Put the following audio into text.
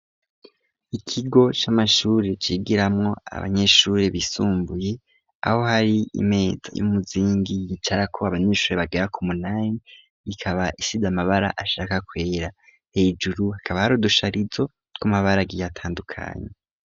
Ikigo c'amashuri cigiramo abanyeshuri bisumbuye aho hari imeta y'umuzingi yicara ko abanyeshuri bagira ku munami ikaba ishide amabara ashaka kweera hejuru hakaba harudusharizo tw amabara agiye atandukanye.